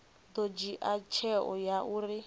ḓo dzhia tsheo ya uri